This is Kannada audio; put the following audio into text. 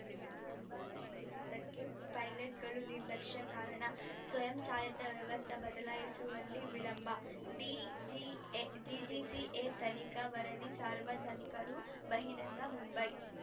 ವಿಮಾನ ಕುಸಿತಕ್ಕೆ ಪೈಲಟ್‌ಗಳ ನಿರ್ಲಕ್ಷ್ಯ ಕಾರಣ ಸ್ವಯಂಚಾಲಿತ ವ್ಯವಸ್ಥೆ ಬದಲಾಯಿಸುವಲ್ಲಿ ವಿಳಂಬ ಡಿಜಿಎ ಜಿಜಿ ಸಿಎ ತನಿಖಾ ವರದಿ ಸಾರ್ವಜನಿಕರಿಗೆ ಬಹಿರಂಗ ಮುಂಬೈ